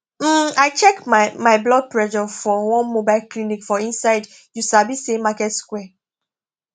um i check my my blood pressure for one mobile clinic for inside you sabi say market square